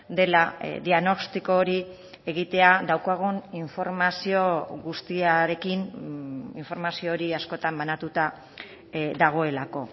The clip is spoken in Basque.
dela diagnostiko hori egitea daukagun informazio guztiarekin informazio hori askotan banatuta dagoelako